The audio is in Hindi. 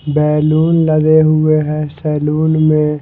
बैलून लगे हुए हैं सैलून में--